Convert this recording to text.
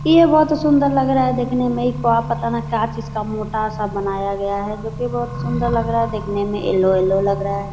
ये बहुत सुंदर लग रहा है देखने में ये तो पता ने का चीज का मोटा-सा बनाया गया है जो की बहुत सुंदर लग रहा है देखने में येल्लो येल्लो लग रहा है।